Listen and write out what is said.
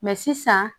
sisan